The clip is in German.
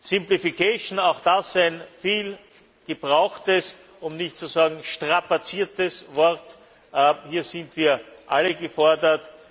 Simplification auch das ein viel gebrauchtes um nicht zu sagen strapaziertes Wort, hier sind wir alle gefordert.